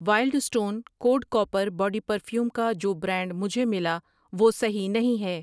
Wild stone code copper body perfume کا جو brand مجھے ملا وہ صحیح نہیں ہے۔